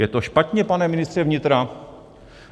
Je to špatně, pane ministře vnitra?